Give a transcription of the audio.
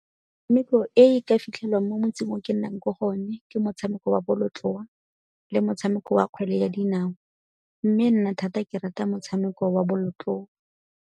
e e ka fitlhelwang mo motseng o ke nnang ko go one ke motshameko wa bolotloa le motshameko wa kgwele ya dinao mme nna thata ke rata motshameko wa bolotloa.